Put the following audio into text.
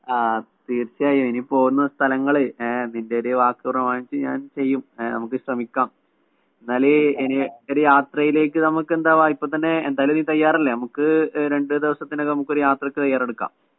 ആ തീര്‍ച്ചയായും. ഇനി പോകുന്ന സ്ഥലങ്ങള്‍ നിന്‍റെ ഒരു വാക്ക് പ്രമാണിച്ച് ഞാന്‍ ചെയ്യും. ആ നമുക്ക് ശ്രമിക്കാം. എന്നാല് എനിവേ ഒരു യാത്രയിലേക്ക് നമുക്ക് എന്താ ഇപ്പം തന്നെ നീ തയ്യാറല്ലേ. നമുക്ക് രണ്ടു ദിവസത്തിനകം ഒരു യാത്രയ്ക്ക് തയ്യാറെടുക്കാം.